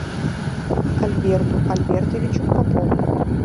альберту альбертовичу попову